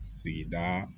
Sigida